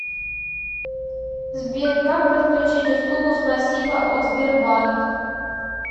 сбер как подключить услугу спасибо от сбербанк